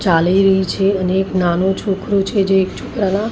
ચાલી રહી છે અને એક નાનું છોકરું છે જે એક છોકરાનાં--